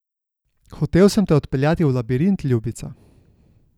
Hotel sem te odpeljati v labirint, ljubica.